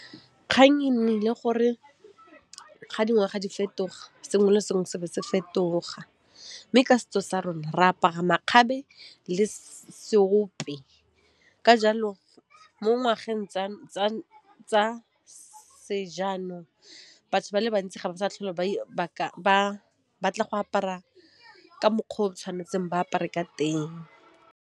Kgang e nnile gore ga dingwaga di fetoga, sengwe le sengwe se be se fetoga, mme ka setso sa rona re apara makgabe le seope, ka jalo mo ngwageng tsa se jaanong, batho ba le bantsi ga ba sa tlhole ba batla go apara ka mokgw'o re tshwanetseng ba apare ka teng.